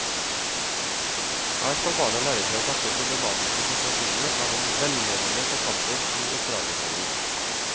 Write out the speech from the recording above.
Her skal barna lære seg å takle problematiske situasjoner av en velmenende forfatter i oppdragerrollen.